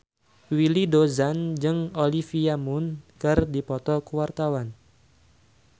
Willy Dozan jeung Olivia Munn keur dipoto ku wartawan